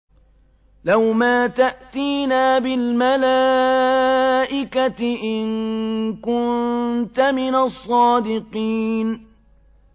لَّوْ مَا تَأْتِينَا بِالْمَلَائِكَةِ إِن كُنتَ مِنَ الصَّادِقِينَ